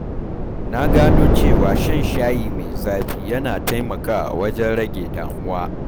Na gano cewa shan shayi mai zafi yana taimakawa wajen rage damuwa.